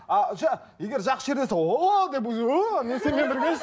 ыыы егер жақсы жерде болса о деп